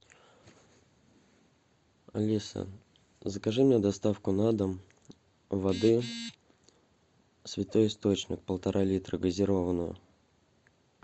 алиса закажи мне доставку на дом воды святой источник полтора литра газированную